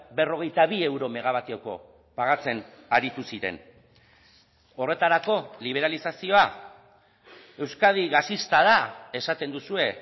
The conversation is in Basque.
berrogeita bi euro megabatioko pagatzen aritu ziren horretarako liberalizazioa euskadi gasista da esaten duzue